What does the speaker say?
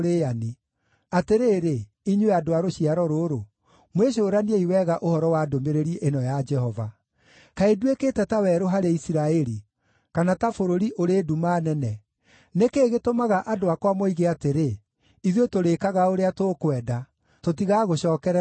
“Atĩrĩrĩ, inyuĩ andũ a rũciaro rũrũ, mwĩcũraniei wega ũhoro wa ndũmĩrĩri ĩno ya Jehova: “Kaĩ nduĩkĩte ta werũ harĩ Isiraeli, kana ta bũrũri ũrĩ nduma nene? Nĩ kĩĩ gĩtũmaga andũ akwa moige atĩrĩ, ‘Ithuĩ tũrĩĩkaga ũrĩa tũkwenda; tũtigagũcookerera rĩngĩ’?